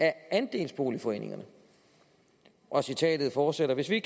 andelsboligforeningerne og citatet fortsætter hvis vi